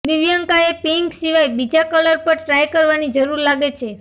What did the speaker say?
દિવ્યંકાએ pink સિવાય બીજા colour પણ ટ્રાય કરવાની જરૂર લાગે છે